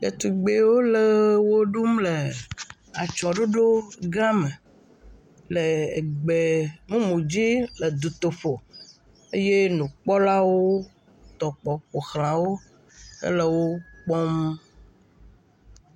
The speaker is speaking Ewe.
Ɖetugbewo le eɣe wo ɖum le atsiɔ̃ ɖoɖo gã me le egbe mumu dzi, le du toƒo eye nu kpɔlawo tɔkpɔ ƒoxlãwo hele wo kpɔm.